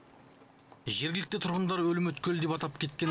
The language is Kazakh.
жергілікті тұрғындар өлім өткелі деп атап кеткен